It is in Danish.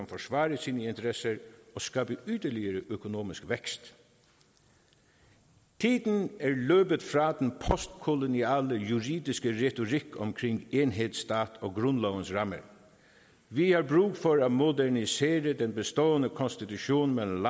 forsvare sine interesser og skabe yderligere økonomisk vækst tiden er løbet fra den postkoloniale juridiske retorik om enhedsstat og grundlovens ramme vi har brug for at modernisere den bestående konstitution mellem